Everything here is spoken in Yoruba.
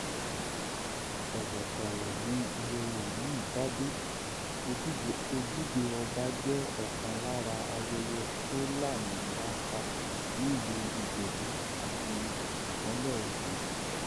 tọwọ tọwọ ni ayẹyẹ yìí báde ojúde ọba jẹ ọkan lára ayẹyẹ tó lámilaka nílùú ìjẹbù àti ìpínlẹ ogun